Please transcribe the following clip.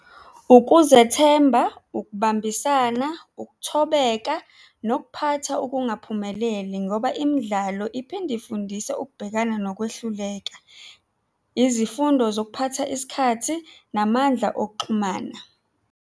Ukuzethemba, ukubambisana, ukuthobeka nokuphatha ukungaphumeleli ngoba imidlalo iphinde ifundise ukubhekana nokwehluleka, izifundo zokuphatha isikhathi namandla okuxhumana.